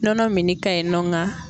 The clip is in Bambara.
Nɔnɔ min ka ɲinɔ nka.